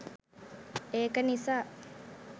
ඒක නිසා